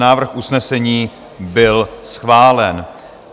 Návrh usnesení byl schválen.